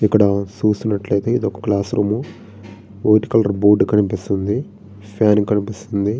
ఇక్కడ చూసినట్లయితే ఇది ఒక class room white colour board కనిపిస్తుంది. ఫ్యాన్ కనిపిస్తుంది.